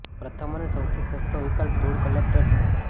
પ્રથમ અને સૌથી સસ્તો વિકલ્પ ધૂળ કલેક્ટર છે